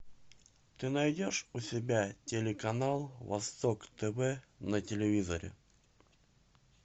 ты найдешь у себя телеканал восток тв на телевизоре